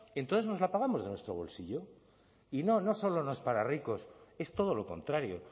entonces nos la pagamos de nuestro bolsillo y no no solo es para ricos es todo lo contrario